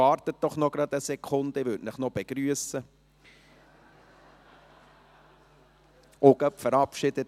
– Warten Sie doch noch eine Sekunde, bevor Sie gehen, ich würde Sie dann noch begrüssen und auch gleich verabschieden.